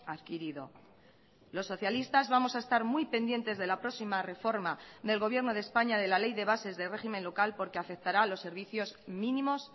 adquirido los socialistas vamos a estar muy pendientes de la próxima reforma del gobierno de españa de la ley de bases de régimen local porque afectará a los servicios mínimos